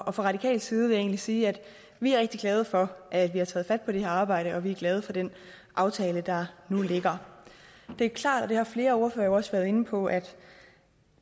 og fra radikal side vil jeg egentlig sige at vi er rigtig glade for at vi har taget fat på det her arbejde og vi er glade for den aftale der nu ligger det er klart og det har flere ordførere også været inde på at